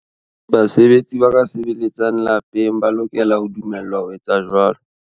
Basebetsi ba ka sebeletsang lapeng ba lokela ho dumellwa ho etsa jwalo.